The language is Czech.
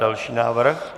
Další návrh.